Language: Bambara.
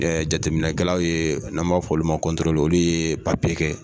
jateminɛkɛlaw ye n''a b'a fɔ olu ma ko , olu ye papiye kɛ.